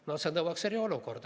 No see nõuaks eriolukorda.